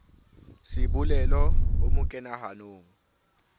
sebolelo o mo kena hanong